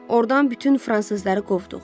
Ordan bütün fransızları qovduq.